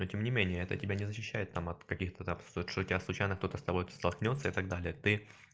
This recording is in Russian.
но тем не менее это тебя не защищает там от каких-то там что что у тебя случайно кто-то с тобой столкнётся и так далее ты